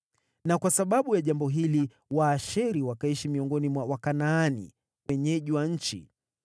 na kwa sababu ya jambo hili Waasheri wakaishi miongoni mwa Wakanaani, wenyeji wa nchi.